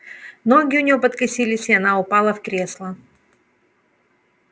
ноги у неё подкосились и она упала в кресло